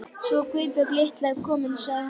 Svo Guðbjörg litla er komin sagði hún.